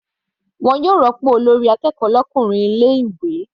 Wọn yóò rópò olórí akẹ́kọ̀ọ́ l'ọkùnrin ilé ìwé.